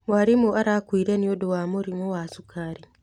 Mwarimũ arakuire nĩũndũ wa mũrimũ wa cukari.